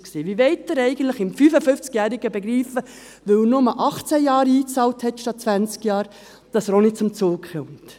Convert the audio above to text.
Wie wollen Sie eigentlich einem 55-Jährigen begreiflich machen, dass er auch nicht zum Zug kommt, weil er nur 18 anstatt 20 Jahre lang einbezahlt hat?